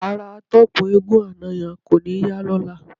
Ara atọ́kùn eégún àná yẹn kò ní yá lọ́la.